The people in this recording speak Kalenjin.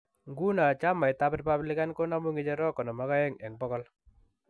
Nguno chamaitab Republican konamu ng'echerok 52 eng 100.